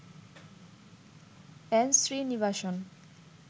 N Srinivasan